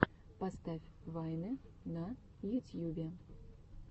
поставь вайны на ютьюбе